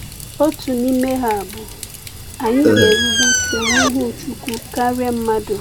Otu n’ime ha bụ: “Ànyị ga-erube isi n’ihu Chukwu karịa mmadụ.”